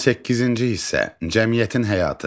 18-ci hissə: Cəmiyyətin həyatı.